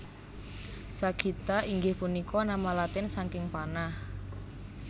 Sagitta inggih punika nama Latin saking panah